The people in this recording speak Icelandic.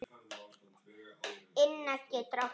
Inna getur átt við